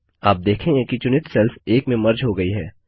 आप देखेंगे कि चुनित सेल्स एक में मर्ज हो गई है